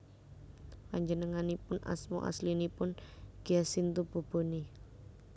Panjenenganipun asma aslinipun Giacinto Bobone